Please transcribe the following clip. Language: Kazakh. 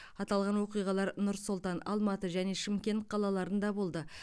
аталған оқиғалар нұр сұлтан алматы және шымкент қалаларында болды